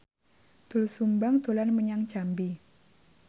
Doel Sumbang dolan menyang Jambi